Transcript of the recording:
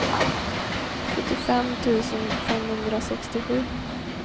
sjuttiofem tusen femhundrasextiosju